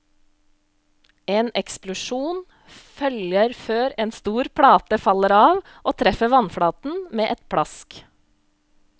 En eksplosjon følger før en stor plate faller av og treffer vannflaten med et plask.